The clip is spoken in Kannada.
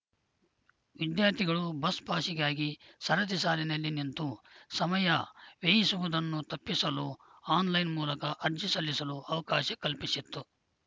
ವಿದ್ಯಾರ್ಥಿಗಳು ಬಸ್‌ ಪಾಸ್‌ಗಾಗಿ ಸರತಿ ಸಾಲಿನಲ್ಲಿ ನಿಂತು ಸಮಯ ವ್ಯಯಿಸುವುದನ್ನು ತಪ್ಪಿಸಲು ಆನ್‌ಲೈನ್‌ ಮೂಲಕ ಅರ್ಜಿ ಸಲ್ಲಿಸಲು ಅವಕಾಶ ಕಲ್ಪಿಸಿತ್ತು